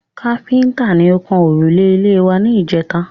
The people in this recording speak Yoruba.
Káfíntà ni ó kan òrùlé ilé wa ní ìjèta